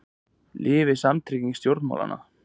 Lifi samtrygging stjórnmálamanna